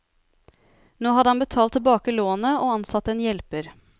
Nå hadde han betalt tilbake lånet og ansatt en hjelper.